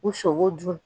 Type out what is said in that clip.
U sogo dun